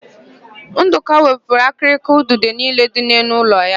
Ndụka wepụrụ akịrịka udide niile dị n'elu ụlọ ya.